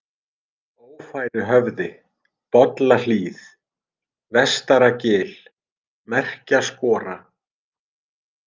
Ófæruhöfði, Bollahlíð, Vestaragil, Merkjaskora